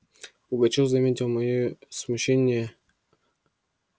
пугачёв заметил моё смущение